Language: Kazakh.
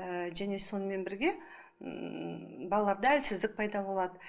ііі және сонымен бірге ммм балаларда әлсіздік пайда болады